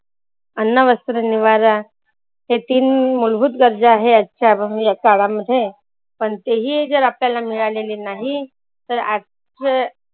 अन्न, वस्त्र, निवारा हे तीन मुलभूत गरजा आहे याच काळामध्ये. पण तेही जर आपल्याला मिळालेली नाही. तर आजचं